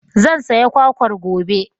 Zan saya kwakwar gobe.